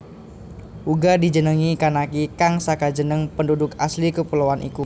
Uga dijenengi Kanaki kang saka jeneng penduduk asli kepuloan iku